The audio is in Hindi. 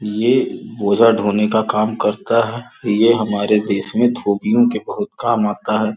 ये गोजा ढोने का काम करता है यह हमारे देश में धोपियों के बहुत काम आता है.